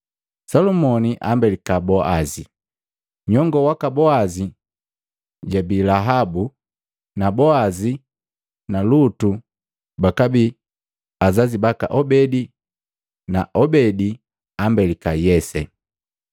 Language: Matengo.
Salumoni ambelika Boazi, nyongoo waka Boazi jojabii Lahabu na Boazi na Lutu bakabii azazi baka Obedi na Obedi ambelika Yese.